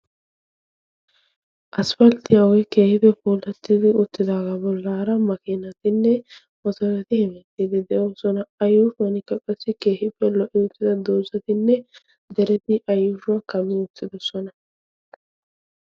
asifalttiyaa woy keehippe polattidi uttidaagaa bollaara makiinatinne motorati hemiittiidi deosona ayyuufhuonkka qassi keehiippe lo"i uttida doozatinne dereti a yuushuwaa kami uttidosona